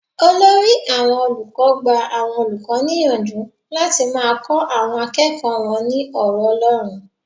Olórí àwọn olùkọ́ gba àwọn olùkọ́ níyànjú láti máa kọ àwọn akẹ́kọ̀ọ́ wọn ní ọ̀rọ̀ Ọlọ́run.